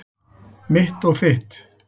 Mitt og þitt.